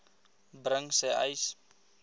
bring sê uys